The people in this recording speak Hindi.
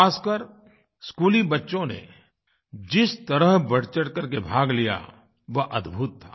खासकर स्कूली बच्चों ने जिस तरह बढ़चढ़ करके भाग लिया वह अद्भुत था